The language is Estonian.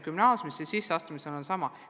Gümnaasiumi sisseastumisega on sama.